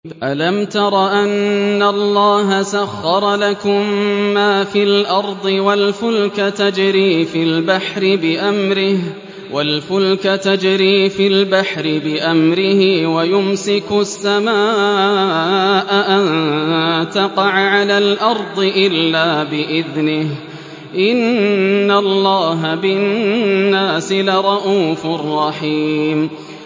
أَلَمْ تَرَ أَنَّ اللَّهَ سَخَّرَ لَكُم مَّا فِي الْأَرْضِ وَالْفُلْكَ تَجْرِي فِي الْبَحْرِ بِأَمْرِهِ وَيُمْسِكُ السَّمَاءَ أَن تَقَعَ عَلَى الْأَرْضِ إِلَّا بِإِذْنِهِ ۗ إِنَّ اللَّهَ بِالنَّاسِ لَرَءُوفٌ رَّحِيمٌ